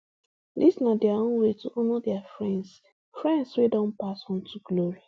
dis na dia own way to honour dia friends friends wey don pass on to glory